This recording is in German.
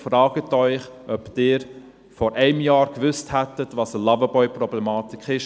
Fragen Sie sich, ob Sie vor einem Jahr gewusst hätten, was die Loverboy-Problematik ist.